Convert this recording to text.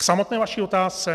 K samotné vaší otázce.